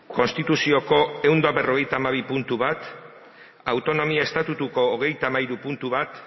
konstituzioko ehun eta berrogeita hamabi puntu bat autonomia estatutuko hogeita hamairu puntu bat